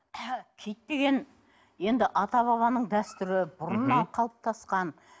киіт деген енді ата бабаның дәстүрі бұрыннан қалыптасқан